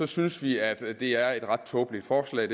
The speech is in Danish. synes vi at det her er et ret tåbeligt forslag